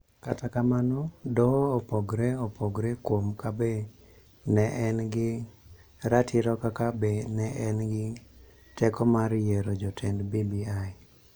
Kata kamano, Doho opogore opogore kuom ka be ne en gi ratiro kata ka be ne en gi teko mar yiero jotend BBI.